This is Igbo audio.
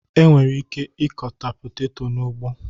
E nwere ike ịkọta peteto n'ugbo